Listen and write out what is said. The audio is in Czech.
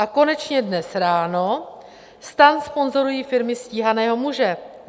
A konečně dnes ráno: STAN sponzorují firmy stíhaného muže.